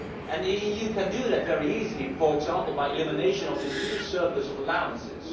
The EU can do that very easily, for example by elimination of the huge surplus of allowances.